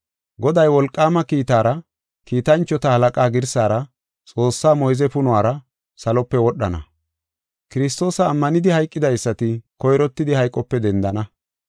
Goday wolqaama kiitara, kiitanchota halaqa girsara, Xoossaa moyze punora, salope wodhana. Kiristoosa ammanidi hayqidaysati koyrottidi hayqope dendana.